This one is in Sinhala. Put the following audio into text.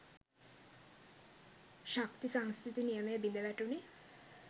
“ශක්ති සංස්ථිති නියමය” බිඳ වැටුනේ